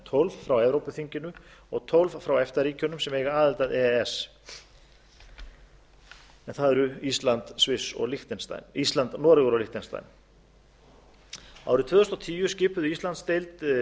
tólf frá evrópuþinginu og tólf frá efta ríkjunum sem eða aðild að e e s en það eru ísland noregur og liechtenstein árið tvö þúsund og tíu skipuðu íslandsdeild